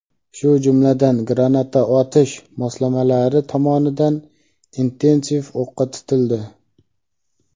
shu jumladan granata otish moslamalari tomonidan intensiv o‘qqa tutildi.